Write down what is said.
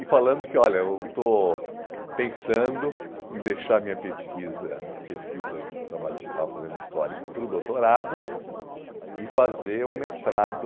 E falando que, olha, eu estou pensando em deixar a minha pesquisa, a pesquisa do trabalho que eu estava fazendo histórica para o doutorado e fazer um mestrado,